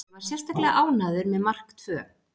Ég var sérstaklega ánægður með mark tvö.